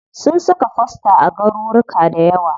Sun saka fosta a garuruka dayawa.